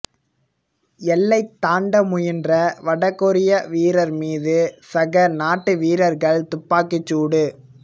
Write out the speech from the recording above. எல்லை தாண்ட முயன்ற வடகொரிய வீரர் மீது சக நாட்டு வீரர்கள் துப்பாக்கிச் சூடு